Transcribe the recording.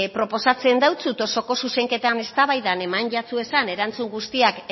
proposatzen deutsut osoko zuzenketan eztabaidan eman zitzaizuen erantzun guztiak